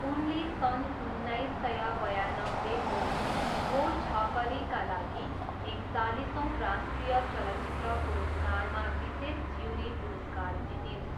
उनले सन् उन्नाइस सय बयानब्बेको 'वो छकरी'का लागि एकचालिसौँ राष्ट्रिय चलचित्र पुरस्कारमा विशेष ज्युरी पुरस्कार जितिन्।